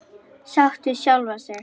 Sátt við sjálfa sig.